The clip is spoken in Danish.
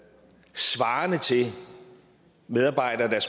svarende til medarbejdere der